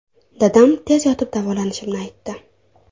Dadam tez yotib davolanishimni aytdi.